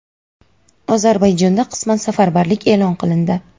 Ozarbayjonda qisman safarbarlik e’lon qilindi.